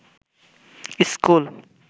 school